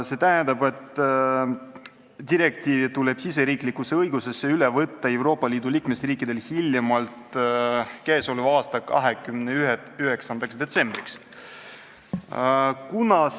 See tähendab, et direktiiv tuleb Euroopa Liidu liikmesriikidel riigisisesesse õigusesse üle võtta hiljemalt k.a 29. detsembriks.